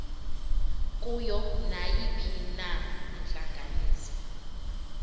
kuyo nayiphina intlanganiso